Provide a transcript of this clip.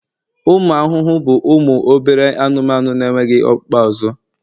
ụmụ ahụhụ bụ ụmụ obere anụmanụ na-enweghị ọkpụkpụ azụ